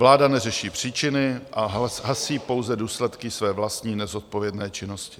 Vláda neřeší příčiny a hasí pouze důsledky své vlastní nezodpovědné činnosti.